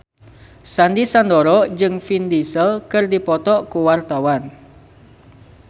Sandy Sandoro jeung Vin Diesel keur dipoto ku wartawan